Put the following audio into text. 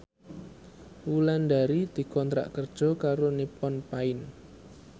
Wulandari dikontrak kerja karo Nippon Paint